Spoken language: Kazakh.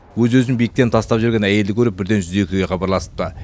өз өзін биіктен тастап жіберген әйелді көріп бірден жүз екіге хабарласыпты